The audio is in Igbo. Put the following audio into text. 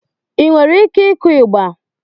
Ị nwere ike ịkụ ịgba?